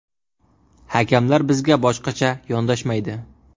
Hakamlar bizga boshqacha yondashmaydi.